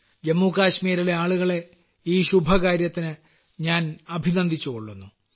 ജമ്മുകാശ്മീരിലെ ആളുകളെ ഈ ശുഭകാര്യത്തിന് ഞാൻ അഭിനന്ദിച്ചുകൊള്ളുന്നു